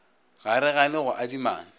ga re gane go adimana